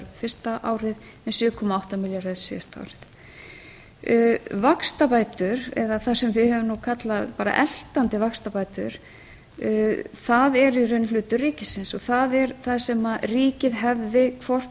fyrsta árið en sjö komma átta milljarðar síðasta árið vaxtabætur eða það sem við höfum nú kallað bara eltandi vaxtabætur það er í raun hlutur ríkisins það er það sem ríkið hefði hvort